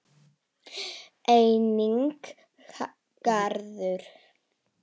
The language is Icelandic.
Enginn garður.